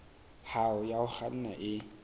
hao ya ho kganna e